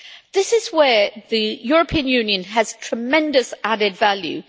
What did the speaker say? This is where the European Union has tremendous added value.